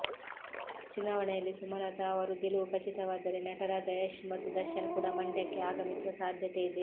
ಚುನಾವಣೆಯಲ್ಲಿ ಸುಮಲತಾ ಅವರು ಗೆಲುವು ಖಚಿತವಾದರೆ ನಟರಾದ ಯಶ್ ಮತ್ತು ದರ್ಶನ್ ಕೂಡ ಮಂಡ್ಯಕ್ಕೆ ಆಗಮಿಸುವ ಸಾಧ್ಯತೆ ಇದೆ